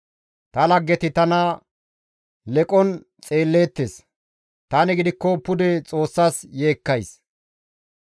Ta laggeti tana leqon xeelleettes; tani gidikko pude Xoossas yeekkays.